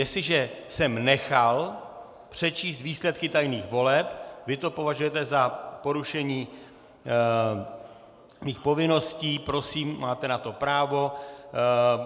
Jestliže jsem nechal přečíst výsledky tajných voleb, vy to považujete za porušení mých povinností, prosím, máte na to právo.